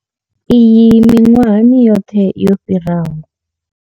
Iyi miṅwahani yoṱhe yo fhiraho.